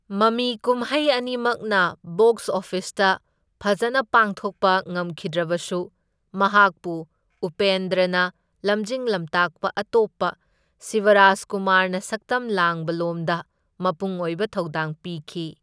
ꯃꯃꯤ ꯀꯨꯝꯍꯩ ꯑꯅꯤꯃꯛꯅ ꯕꯣꯛꯁ ꯑꯣꯐꯤꯁꯇ ꯐꯖꯅ ꯄꯥꯡꯊꯣꯛꯄ ꯉꯝꯈꯤꯗ꯭ꯔꯕꯁꯨ, ꯃꯍꯥꯛꯄꯨ ꯎꯄꯦꯟꯗ꯭ꯔꯅ ꯂꯝꯖꯤꯡ ꯂꯝꯇꯥꯛꯄ ꯑꯇꯣꯞꯄ ꯁꯤꯕꯔꯥꯖꯀꯨꯃꯥꯔꯅ ꯁꯛꯇꯝ ꯂꯥꯡꯕ ꯂꯣꯝꯗ ꯃꯄꯨꯡꯑꯣꯏꯕ ꯊꯩꯗꯥꯡ ꯄꯤꯈꯤ꯫